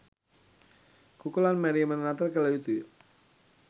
කුකුළන් මැරීමද නතර කළ යුතු ය.